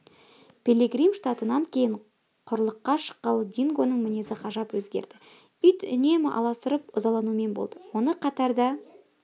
пилигрим штатынан кейін құрлыққа шыққалы дингоның мінезі ғажап өзгерді ит үнемі аласұрып ызаланумен болды оны қатарда